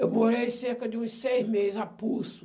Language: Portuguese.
Eu morei cerca de uns seis meses, a pulso.